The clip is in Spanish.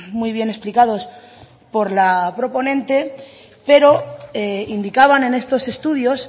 muy bien explicados por la proponente pero indicaban en estos estudios